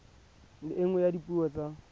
le nngwe ya dipuo tsa